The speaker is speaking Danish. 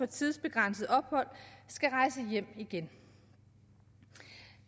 tidsbegrænsede ophold skal rejse hjem igen